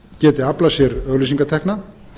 geti aflað sér auglýsingatekna